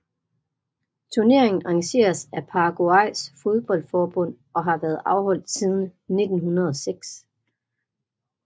Turneringen arrangeres af Paraguays fodboldforbund og har været afholdt siden 1906